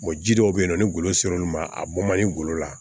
ji dɔw bɛ yen nɔ ni golo ser'olu ma a bɔ man di ngolo la